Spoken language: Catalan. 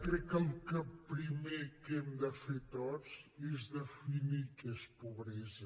crec que el primer que hem de fer tots és definir què és pobresa